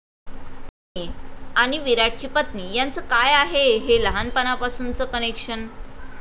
धोनी आणि विराटची पत्नी यांचं काय आहे हे लहानपणापासूनचं कनेक्शन?